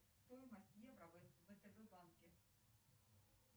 джой где находится штаб квартира уна унсо